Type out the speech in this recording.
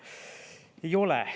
Ei ole.